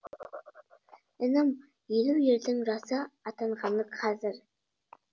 інім елу ердің жасы атанғаны қазір